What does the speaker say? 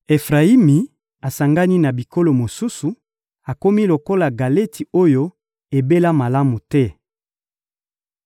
Efrayimi asangani na bikolo mosusu, akomi lokola galeti oyo ebela malamu te.